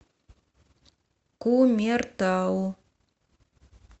кумертау